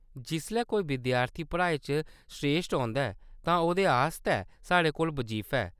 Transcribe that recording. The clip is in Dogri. जिसलै कोई विद्यार्थी पढ़ाई च स्रेश्ठ औंदा ऐ तां ओह्‌दे आस्तै साढ़े कोल बजीफा ऐ।